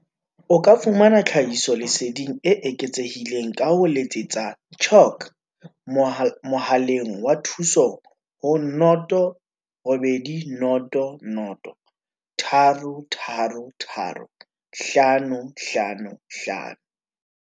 O ka fumana tlhahiso-leseding e eketsehileng ka ho letsetsa CHOC mohaleng wa thuso ho 0800 333 555.